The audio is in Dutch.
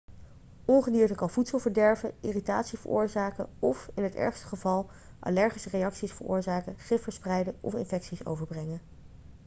ongedierte kan voedsel verderven irritatie veroorzaken of in het ergste geval allergische reacties veroorzaken gif verspreiden of infecties overbrengen